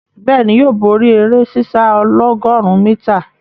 Bẹ́ẹ̀ni, yóò bóri eré sísá ọlọ́gọ̀rún mítà.